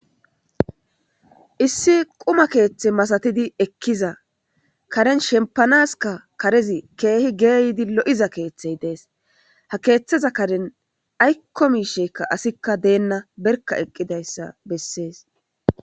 Issi quma keeththi masatidi ekkiza Karen shemppanas karez keehi geyiddi loo'iza keththey dees,ha keeththeza Karen aykko assikka bawa.